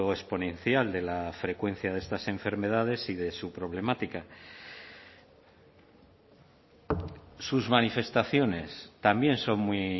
exponencial de la frecuencia de estas enfermedades y de su problemática sus manifestaciones también son muy